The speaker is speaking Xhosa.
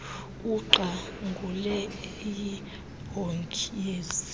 uqangule eyimbongi yezi